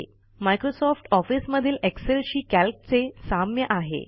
Microsoft Office मधील Excel शी कॅल्कचे साम्य आहे